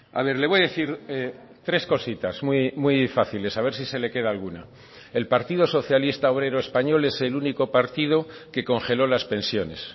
a ver le voy a decir tres cositas muy fáciles a ver si se le queda alguna el partido socialista obrero español es el único partido que congeló las pensiones